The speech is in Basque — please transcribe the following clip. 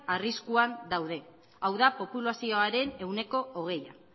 arriskuan daude hau da populazioaren ehuneko hogeia